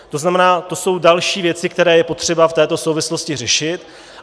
To znamená, to jsou další věci, které je potřeba v této souvislosti řešit.